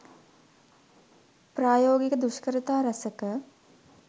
ප්‍රායෝගික දුෂ්කරතා රැසක